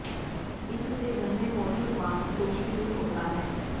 इससे घर में मौजूद वास्तु दोष भी दूर होता है